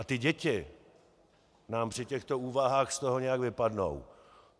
A ty děti nám při těchto úvahách z toho nějak vypadnou.